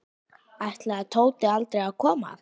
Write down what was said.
Ætlaði Tóti aldrei að koma?